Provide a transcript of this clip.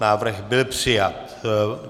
Návrh byl přijat.